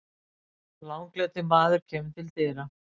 Langleitur maður kemur til dyra.